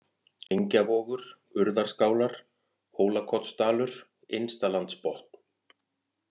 Engjavogur, Urðarskálar, Hólakotsdalur, Innstalandsbotn